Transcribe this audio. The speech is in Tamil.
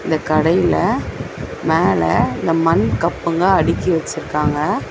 இந்த கடையில மேல இந்த மண் கப்புங்க அடிக்கி வெச்சிருக்காங்க.